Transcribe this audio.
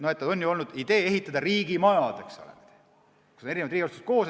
On olnud idee ehitada riigimajad, kus on mitmed riigiasutused koos.